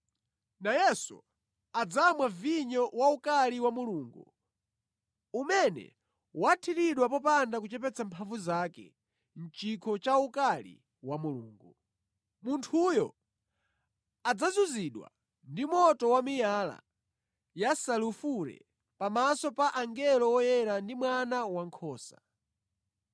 nayenso adzamwa vinyo waukali wa Mulungu, umene wathiridwa popanda kuchepetsa mphamvu zake mʼchikho cha ukali wa Mulungu. Munthuyo adzazunzidwa ndi moto wamiyala yasulufure pamaso pa angelo oyera ndi pa Mwana Wankhosa.